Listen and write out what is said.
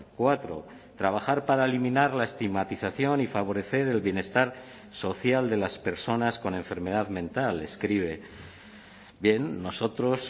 cuatro trabajar para eliminar la estigmatización y favorecer el bienestar social de las personas con enfermedad mental escribe bien nosotros